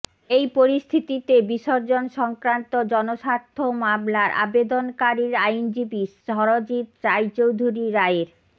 এই পরিস্থিতিতে বিসর্জন সংক্রান্ত জনস্বার্থ মামলার আবেদনকারীর আইনজীবী স্মরজিৎ রায়চৌধুরী রায়ের